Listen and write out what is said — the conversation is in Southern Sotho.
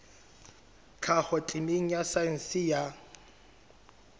tlhaho temeng ya saense ya